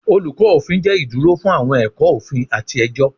Olukọ Ofin jẹ iduro fun awọn ẹkọ ofin ati ẹjọ